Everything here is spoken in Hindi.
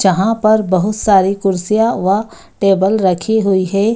जहाँ पर बहुत सारी कुर्सियां व टेबल रखी हुई है।